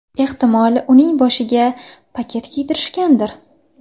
Ehtimol uning boshiga paket kiydirishgandir.